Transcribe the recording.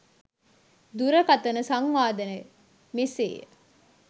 දුරකතන සංවාදය මෙසේය